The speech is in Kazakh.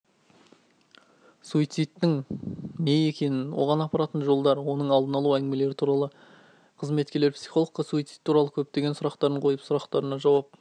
суицидтың не екенін оған апаратын жолдар оның алдын алу туралы әңгімелер өтті қызметкерлер психологке суицид туралы көптеген сұрақтарын қойып сұрақтарына жауап